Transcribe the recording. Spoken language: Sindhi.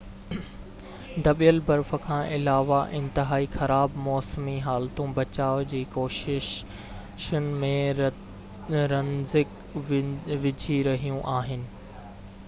دٻيل برف کان علاوه انتهائي خراب موسمي حالتون بچاءُ جي ڪوششن ۾ رنڊڪ وجهي رهيون آهن